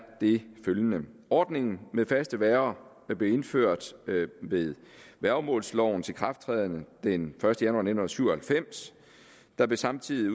det følgende ordningen med faste værger blev indført ved værgemålslovens ikrafttræden den første januar nitten syv og halvfems der blev samtidig